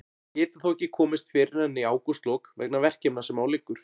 Getur þó ekki komist fyrr en í ágústlok vegna verkefna sem á liggur.